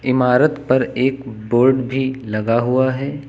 इमारत पर एक बोर्ड भी लगा हुआ है।